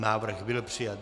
Návrh byl přijat.